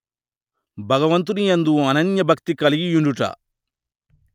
భగవంతుని యందు అనన్యభక్తి గలిగియుండుట